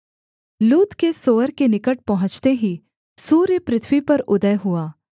लूत के सोअर के निकट पहुँचते ही सूर्य पृथ्वी पर उदय हुआ